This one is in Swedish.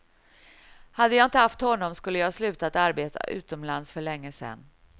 Hade jag inte haft honom skulle jag slutat arbeta utomlands för länge sedan.